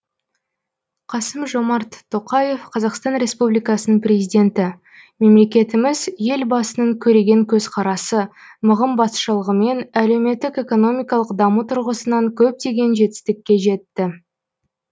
қасым жомарт тоқаев қазақстан республикасының президенті мемлекетіміз елбасының көреген көзқарасы мығым басшылығымен әлеуметтік экономикалық даму тұрғысынан көптеген жетістікке жетті